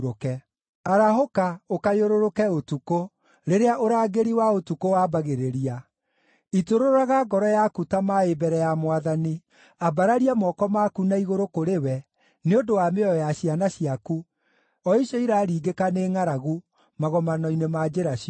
Arahũka, ũkayũrũrũke ũtukũ, rĩrĩa ũrangĩri wa ũtukũ wambagĩrĩria; itũrũraga ngoro yaku ta maaĩ mbere ya Mwathani. Ambararia moko maku na igũrũ kũrĩ we nĩ ũndũ wa mĩoyo ya ciana ciaku, o icio iraringĩka nĩ ngʼaragu magomano-inĩ ma njĩra ciothe.